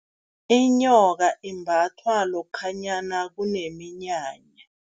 Inyoka imbathwa lokhanyana kuneminyanya.